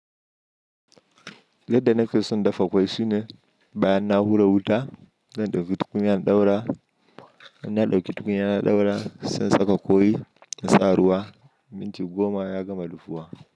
Yadda na ke son dafa ƙwai sune, bayan na hura wuta, zan ɗauki tukunya in ɗaura, in na ɗauki tukunya na ɗaura, sai in saka ƙwai in sa ruwa, minti goma ya gama dafuwa.